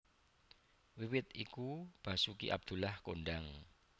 Wiwit iku Basoeki Abdullah kondhang